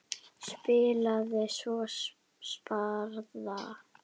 Spilaði svo spaða.